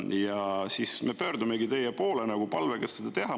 Ja siis me pöördumegi teie poole palvega seda teha.